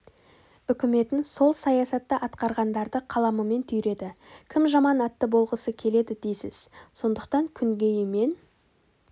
үкіметін сол саясатты атқарғандарды қаламымен түйреді кім жаман атты болғысы келеді дейсіз сондықтан күнгейі мен